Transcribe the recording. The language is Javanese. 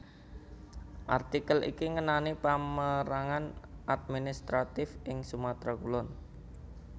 Artikel iki ngenani pamérangan administratif ing Sumatera Kulon